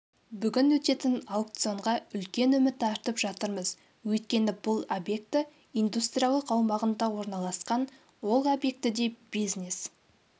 бүгін өтетін аукционға үлкен үміт артып жатырмыз өйткені бұл объекті индустриялық аумағында орналасқан ол объектіде бизнес